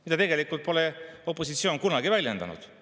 Seda pole opositsioon tegelikult kunagi väljendanud.